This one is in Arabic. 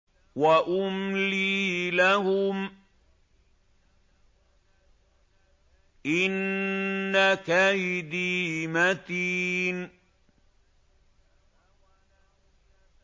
وَأُمْلِي لَهُمْ ۚ إِنَّ كَيْدِي مَتِينٌ